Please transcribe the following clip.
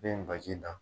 Bɛ baji da